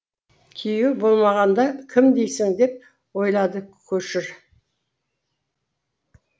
күйеуі болмағанда кім дейсің деп ойлады көшір